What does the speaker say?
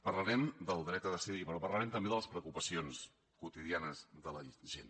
parlarem del dret a decidir però parlarem també de les preocupacions quotidianes de la gent